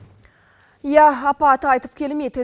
иә апат айтып келмейді